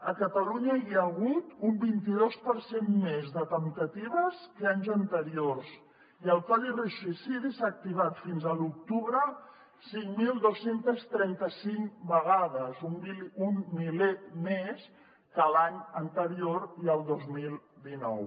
a catalunya hi ha hagut un vint i dos per cent més de temptatives que anys anteriors i el codi risc suïcidi s’ha activat fins a l’octubre cinc mil dos cents i trenta cinc vegades un miler més que l’any anterior i el dos mil dinou